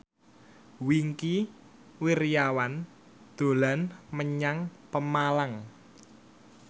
Wingky Wiryawan dolan menyang Pemalang